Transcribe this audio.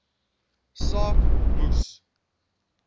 saak moes